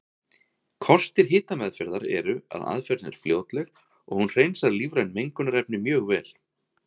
Kostir hitameðferðar eru að aðferðin er fljótleg og hún hreinsar lífræn mengunarefni mjög vel.